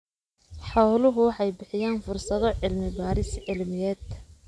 Xooluhu waxay bixiyaan fursado cilmi-baadhis cilmiyeed.